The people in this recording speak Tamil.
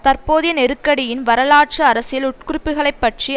தற்போதைய நெருக்கடியின் வரலாற்று அரசியல் உட்குறிப்புக்களைப் பற்றி